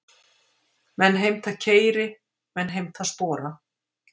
Menn heimta keyri, menn heimta spora.